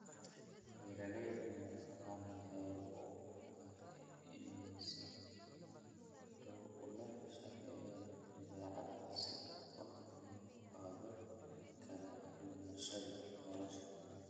Beeralayda madaxbannaan waxay u muuqdaan inay si dhow ula shaqeeyaan dabeecadda si kor loogu qaado kala duwanaanshaha noolaha.